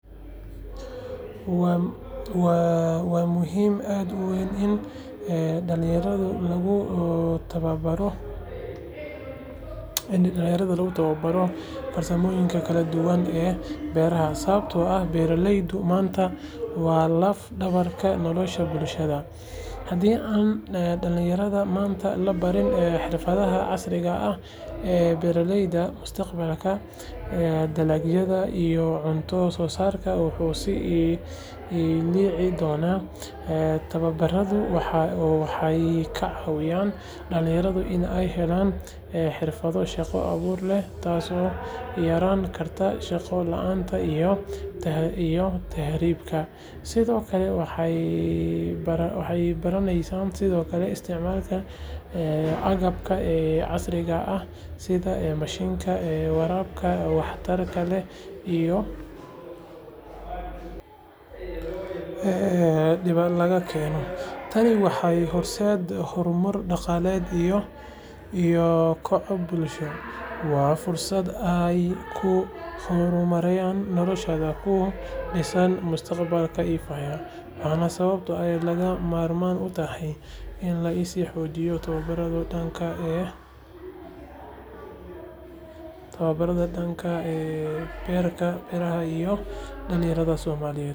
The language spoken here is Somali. Waa muhiim aad u weyn in dhalinyarada lagu tababaro farsamooyinka kala duwan ee beeraha sababtoo ah beeralayda maanta waa laf-dhabarta nolosha bulshada. Haddii aan dhalinyarada maanta la barin xirfadaha casriga ah ee beeralayda, mustaqbalka dalagyada iyo cunto-soosaarka wuu sii liici doonaa. Tababaradu waxay ka caawiyaan dhalinyarada in ay helaan xirfado shaqo-abuur leh, taas oo yarayn karta shaqo la’aanta iyo tahriibta. Sidoo kale waxay baranayaan sida loo isticmaalo agabka casriga ah sida mashiinada, waraabka waxtarka leh iyo abuurka tayada sare leh. Marka dhalinyarada la baro farsamooyin casri ah, waxay kordhin karaan wax-soosaarka dalka waxayna yareyn karaan ku-tiirsanaanta cuntooyinka dibadda laga keeno. Tani waxay horseedaysaa horumar dhaqaale iyo koboc bulsho. Waa fursad ay ku horumariyaan noloshooda, kuna dhisaan mustaqbal ifaya. Waana sababta ay lagama maarmaan u tahay in la sii xoojiyo tababarada dhanka beeraha ee dhalinyarada Soomaaliyeed.